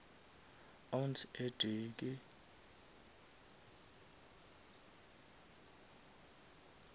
ounce e tee ke